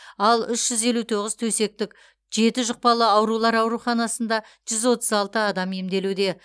ал үш жүз елу тоғыз төсектік жеті жұқпалы аурулар ауруханасында жүз отыз алты адам емделуде